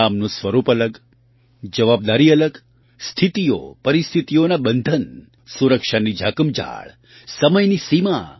કામનું સ્વરૂપ અલગ જવાબદારી અલગ સ્થિતિઓ પરિસ્થિતિઓનાં બંધન સુરક્ષાની ઝાકમઝાળસમયની સીમા